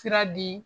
Sira di